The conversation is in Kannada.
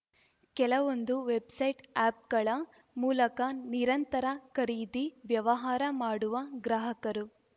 ಕೆಲವೊಂದು ವೆಬ್‌ಸೈಟ್‌ಆ್ಯಪ್‌ಗಳ ಮೂಲಕ ನಿರಂತರ ಖರೀದಿ ವ್ಯವಹಾರ ಮಾಡುವ ಗ್ರಾಹಕರು